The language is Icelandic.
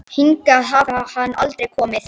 Hingað hafi hann aldrei komið.